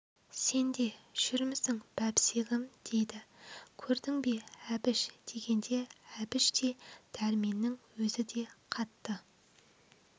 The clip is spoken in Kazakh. сен де жүрмісің бәбісегім дейді көрдің бе әбіш дегенде әбіш те дәрменнің өзі де қатты